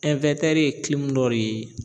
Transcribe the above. ye dɔ de ye